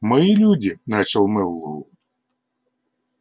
мои люди начал мэллоу